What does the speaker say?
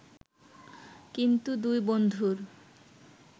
কিন্তু দুই বন্ধুর